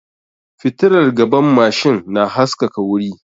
Fitilar gaban mashin na haskaka wuri